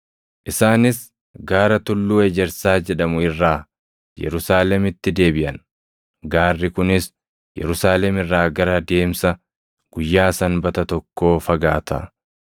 Isaanis gaara Tulluu Ejersaa jedhamu irraa Yerusaalemitti deebiʼan; gaarri kunis Yerusaalem irraa gara deemsa guyyaa Sanbata + 1:12 Deemsa guyyaa Sanbata – Deemsi guyyaa Sanbataa gara kiiloo meetira tokkoo ti. tokkoo fagaata.